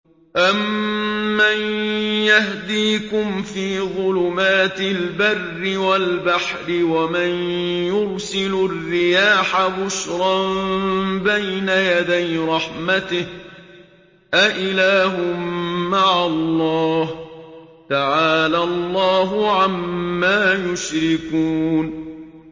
أَمَّن يَهْدِيكُمْ فِي ظُلُمَاتِ الْبَرِّ وَالْبَحْرِ وَمَن يُرْسِلُ الرِّيَاحَ بُشْرًا بَيْنَ يَدَيْ رَحْمَتِهِ ۗ أَإِلَٰهٌ مَّعَ اللَّهِ ۚ تَعَالَى اللَّهُ عَمَّا يُشْرِكُونَ